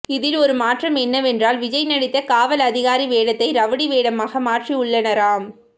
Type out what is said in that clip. இதில் ஒரு மாற்றம் என்னவென்றால் விஜய் நடித்த காவல் அதிகாரி வேடத்தை ரவுடி வேடமாக மாற்றியுள்ளனராம்